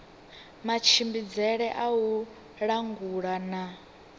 matshimbidzele a u langula na